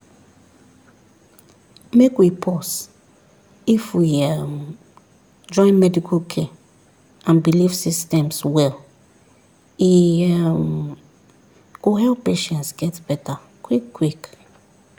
make we pause if we um join medical care and belief systems well e um go help patients get better quick quick.